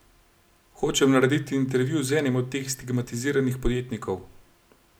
Hočem narediti intervju z enim od teh stigmatiziranih podjetnikov!